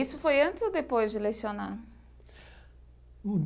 Isso foi antes ou depois de lecionar?